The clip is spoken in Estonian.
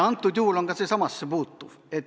Antud juhul puutub ka see sellesse samasse.